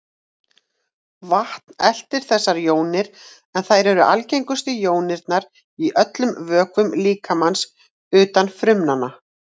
Vatn eltir þessar jónir, en þær eru algengustu jónirnar í öllum vökvum líkamans utan frumnanna.